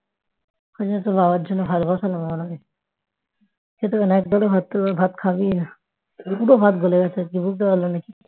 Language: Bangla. ওই জন্য তো তোর বাবার জন্য ভাত বসালাম আবার আমি খেতে পারবেনা এক গাল ও ভাত খাবেই না। পুরো ভাত গলে গেছে আজকে বুঝতে পারলাম না